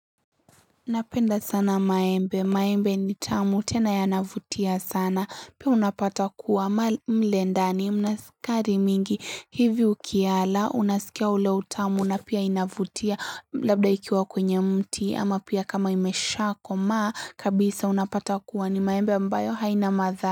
Napenda sana maembe. Maembe ni tamu tena yanavutia sana. Pia unapata kuwa mle ndani. Ina sukari mingi. Hivi ukiyala. Unasikia ule utamu. Na pia inavutia. Labda ikiwa kwenye mti. Ama pia kama imeshako. Maa kabisa unapata kuwa ni maembe ambayo haina madha.